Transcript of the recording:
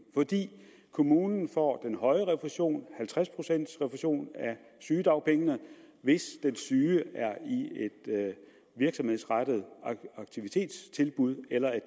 for kommunen får den høje refusion halvtreds procent refusion af sygedagpengene hvis den syge er i et virksomhedsrettet aktivitetstilbud eller er